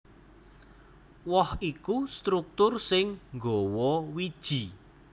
Woh iku struktur sing nggawa wiji